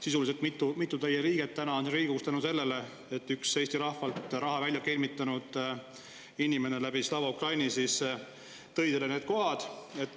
Sisuliselt mitu teie liiget on Riigikogus tänu sellele, et üks Eesti rahvalt Slava Ukraini abil raha välja kelmitanud inimene tõi teile need kohad.